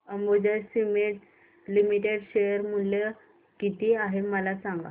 Ambuja cements limited share मूल्य किती आहे मला सांगा